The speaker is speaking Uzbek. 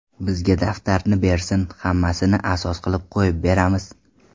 Bizga daftarni bersin, hammasini asos qilib qo‘yib beramiz.